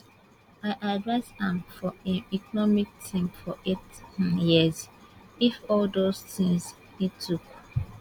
i advise am for im economic team for eight um years if all those tins e tok